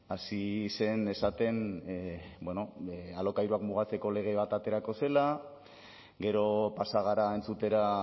hasi zen esaten alokairuak mugatzeko lege bat aterako zela gero pasa gara entzutera